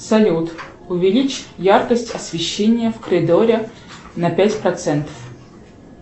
салют увеличь яркость освещения в коридоре на пять процентов